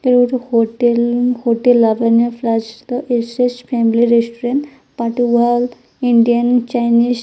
Hotel hotel Labanya plus the S S family restaurant but wow Indian Chinese.